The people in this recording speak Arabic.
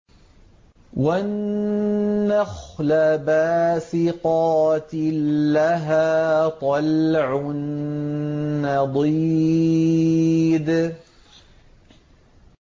وَالنَّخْلَ بَاسِقَاتٍ لَّهَا طَلْعٌ نَّضِيدٌ